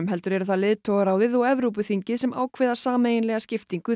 heldur eru það leiðtogaráðið og Evrópuþingið sem ákveða sameiginlega skiptingu